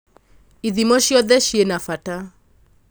ithimo ciothe cina bata